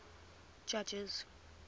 judges